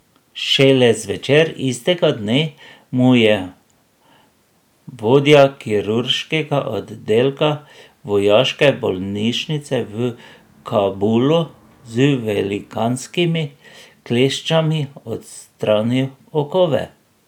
Šele zvečer istega dne mu je vodja kirurškega oddelka vojaške bolnišnice v Kabulu z velikanskimi kleščami odstranil okove.